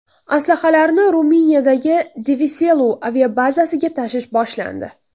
Aslahalarni Ruminiyadagi Deveselu aviabazasiga tashish boshlandi.